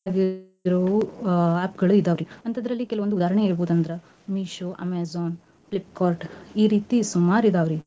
ದ್ರು app ಗಳು ಇದಾವ್ ರಿ ಅಂತದ್ರಲ್ಲಿ ಕೆಲವಂದು ಉದಾಹರ್ಣೆ ಹೇಳ್ಬೋದ್ ಅಂದ್ರ Meesho, Amazon, Flipkart, ಈ ರೀತಿ ಸುಮಾರ್ ಇದಾವ್ ರಿ.